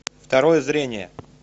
второе зрение